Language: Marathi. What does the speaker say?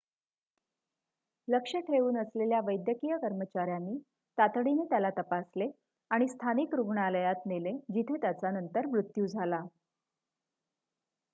लक्ष ठेऊन असलेल्या वैद्यकीय कर्मचाऱ्यांनी तातडीने त्याला तपासले आणि स्थानिक रुग्णालयात नेले जिथे त्याचा नंतर मृत्यू झाला